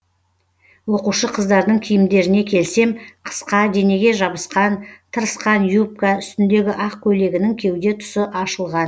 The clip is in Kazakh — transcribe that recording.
оқушы қыздардың киімдеріне келсем қысқа денеге жабысқан тырысқан юбка үстіндегі ақ көйлегінің кеуде тұсы ашылған